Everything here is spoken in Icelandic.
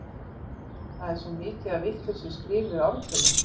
það er svo mikið af vitlaust skrifuðum ártölum